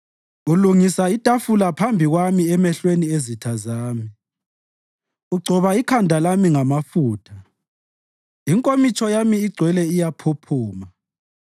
Ulungisa itafula phambi kwami emehlweni ezitha zami. Ugcoba ikhanda lami ngamafutha; inkomitsho yami igcwele iyaphuphuma.